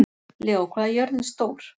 Leó, hvað er jörðin stór?